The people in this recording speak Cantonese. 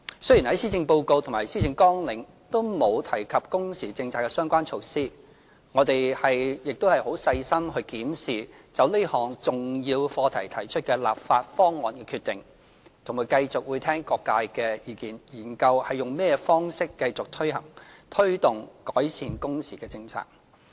雖然施政報告及施政綱領都沒有提及工時政策的相關措施，但我們會細心檢視就這項重要課題提出的立法方案的決定，並繼續聽取各界的意見，研究以甚麼方式繼續推動改善工時的政策。